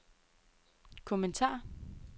kommentar